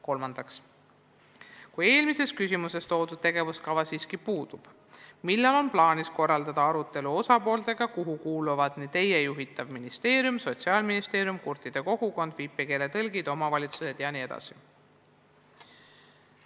Kolmandaks: "Kui eelmises küsimuses toodud tegevuskava siiski puudub, millal on plaanis korraldada arutelu osapooltega, kuhu kuuluvad nii Teie juhitav ministeerium, Sotsiaalministeerium, kurtide kogukond, viipekeele tõlgid, omavalitsused jne?